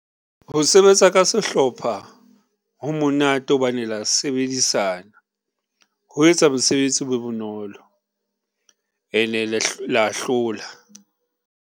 Ho sebetsa ka sehlopha ho monate hobane la sebedisana ho etsa mosebetsi o be bonolo ene la hlahloba.